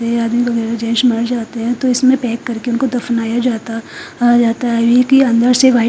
जैसे मर जाते हैं तो इसमें पैक करके उनको दफनाया जाता आ जाता है अभी के अंदर से वा--